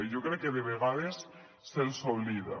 i jo crec que de vegades se’ls oblida